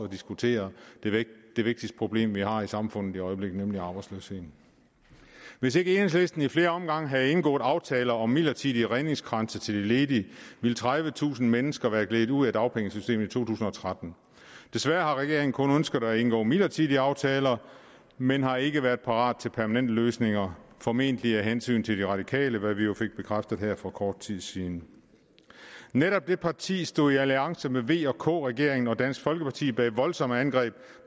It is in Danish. diskutere det vigtigste problem vi har i samfundet i øjeblikket nemlig arbejdsløsheden hvis ikke enhedslisten i flere omgange havde indgået aftaler om midlertidige redningskranse til de ledige ville tredivetusind mennesker være gledet ud af dagpengesystemet tusind og tretten desværre har regeringen kun ønsket at indgå midlertidige aftaler man har ikke været parat til permanente løsninger formentlig af hensyn til de radikale hvad vi jo fik bekræftet her for kort tid siden netop det parti stod i alliance med vk regeringen og dansk folkeparti bag voldsomme angreb